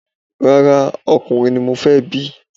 Rárá, ọkùnrin ni mo fẹ́ bí